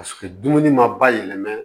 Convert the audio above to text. Paseke dumuni ma bayɛlɛma